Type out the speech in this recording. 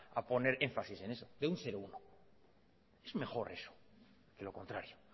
a poner énfasis en eso de un cero uno es mejor eso que lo contrario